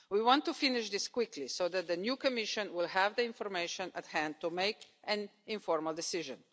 We want to finish this quickly so that the new Commission will have the information at hand to make an informed decision.